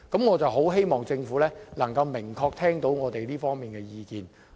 我真的希望政府能夠明確聽到我們這方面的意見。